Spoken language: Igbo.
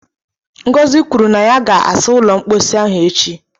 Ngọzị kwuru na ya ga asa ụlọ mposi ahụ echi